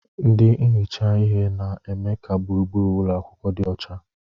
Ndị na-ehicha ihe na-eme ka gburugburu ụlọ akwụkwọ dị ọcha.